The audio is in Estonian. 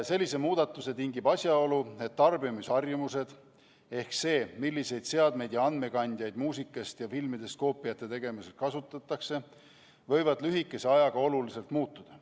Sellise muudatuse tingib asjaolu, et tarbimisharjumused ehk see, milliseid seadmeid ja andmekandjaid muusikast või filmidest koopiate tegemiseks kasutatakse, võivad lühikese ajaga oluliselt muutuda.